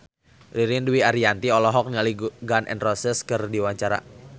Ririn Dwi Ariyanti olohok ningali Gun N Roses keur diwawancara